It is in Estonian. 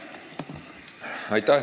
Aitäh!